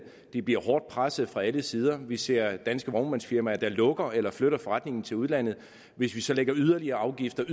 de bliver hårdt presset fra alle sider vi ser danske vognmandsfirmaer der lukker eller flytter forretningen til udlandet hvis vi så lægger yderligere afgifter